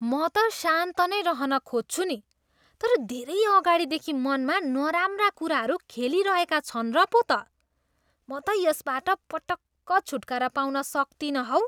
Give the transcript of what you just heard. म त शान्त नै रहन खोज्छु नि, तर धेरै अगाडिदेखि मनमा नराम्रा कुराहरू खेलिरहेका छन् र पो त। म यसबाट पटक्क छुटकारा पाउन सक्तिनँ हौ।